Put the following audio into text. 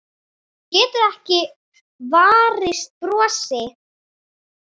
Hún getur ekki varist brosi.